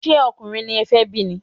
Ṣé ọkùnrin ni e fé bí ni?